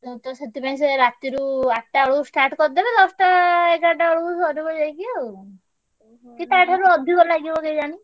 ଆମର ତ ସେଥିପାଇଁ ସେୟା ରାତିରୁ ଆ~ ଠଟା~ ବେଳୁ start କରିଦେବେ ଦଶଟା ଏଗାରଟା ବେଳକୁ ସରିବ ଯାଇକି ଆଉ। କି ତା ଠାରୁ ଅଧିକ ଲାଗିବ କେଜାଣି।